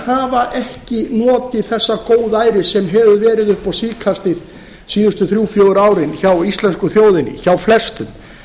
hafa ekki notið þessa góðæris sem hefur verið upp á síðkastið síðustu þrjú til fjögur árin hjá íslensku þjóðinni hjá flestum